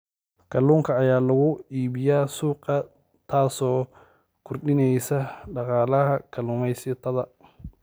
Kalluunka ayaa lagu iibiyaa suuqa, taasoo kordhinaysa dakhliga kalluumaysatada.